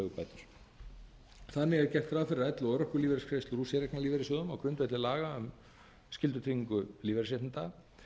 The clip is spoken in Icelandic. þannig er gert ráð fyrir að elli og örorkulífeyrisgreiðslur úr séreignarlífeyrissjóðum á grundvelli laga um skyldutryggingu lífeyrisréttinda